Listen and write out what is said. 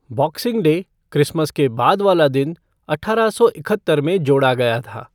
Boxing Day, Christmas के बाद वाला दिन, अठारह सौ इकहत्तर में जोड़ा गया था।